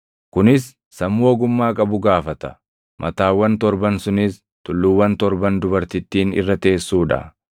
“Kunis sammuu ogummaa qabu gaafata. Mataawwan torban sunis tulluuwwan torban dubartittiin irra teessuu dha.